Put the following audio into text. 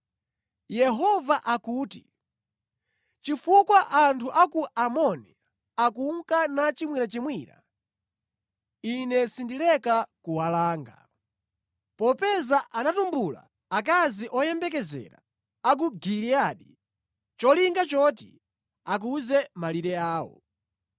Yehova akuti, “Chifukwa anthu a ku Amoni akunka nachimwirachimwira, Ine sindileka kuwalanga. Popeza anatumbula akazi oyembekezera a ku Giliyadi nʼcholinga choti akuze malire awo,